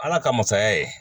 Ala ka masaya ye